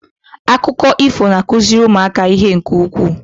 Akụkọ ifo na-akụziri ụmụaka ihe nke ukwuu.